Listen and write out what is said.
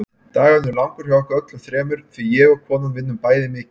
Dagurinn er langur hjá okkur öllum þremur því ég og konan vinnum bæði mikið.